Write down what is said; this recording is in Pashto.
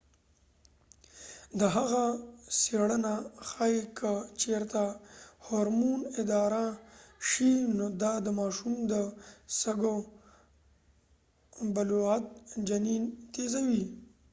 د هغه څیړنه ښیې که چیرته هورمون اداره شي نو دا د ماشوم د سږو بلوغیت جنین تیزوي